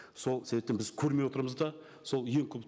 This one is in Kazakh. сол себептен біз көрмей отырмыз да сол ең көп